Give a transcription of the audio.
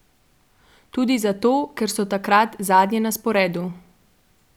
Tudi zato, ker so tokrat zadnje na sporedu.